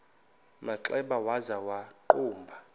manxeba waza wagquma